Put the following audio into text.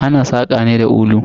Ana saƙa ne da kulu.